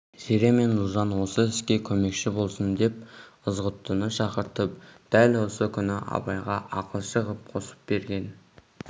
зере мен ұлжан осы іске көмекші болсын деп ызғұттыны шақыртып дәл осы күні абайға ақылшы ғып қосып берген